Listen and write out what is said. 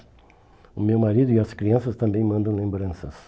O meu marido e as crianças também mandam lembranças.